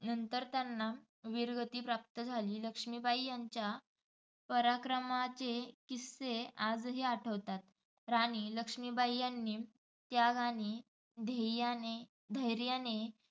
नंतर त्यांना विरगती प्राप्त झाली. लक्ष्मीबाई यांच्या पराक्रमाचे किस्से आजही आठवतात. राणी लक्ष्मीबाई यांनी त्याग आणि ध्येय, धैर्याने